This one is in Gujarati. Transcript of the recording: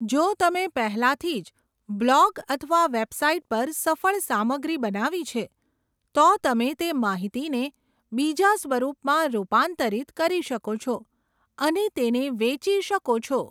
જો તમે પહેલાથી જ બ્લોગ અથવા વેબસાઇટ પર સફળ સામગ્રી બનાવી છે, તો તમે તે માહિતીને બીજા સ્વરૂપમાં રૂપાંતરિત કરી શકો છો અને તેને વેચી શકો છો.